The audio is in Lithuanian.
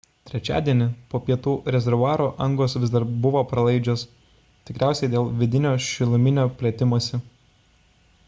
trečiadienį po pietų rezervuaro angos vis dar buvo pralaidžios – tikriausiai dėl vidinio šiluminio plėtimosi